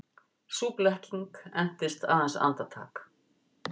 Sú blekking entist aðeins andartak.